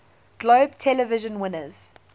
globe television winners